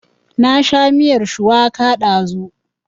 Na sha miyar shuwaka ɗazu